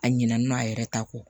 A ɲinɛn'a yɛrɛ ta kɔ